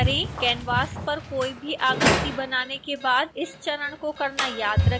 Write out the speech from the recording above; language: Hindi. canvas पर कोई भी आकृति बनाने के बाद इस चरण को करना याद रखें